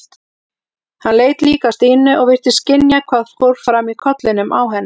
Hann leit líka á Stínu og virtist skynja hvað fór fram í kollinum á henni.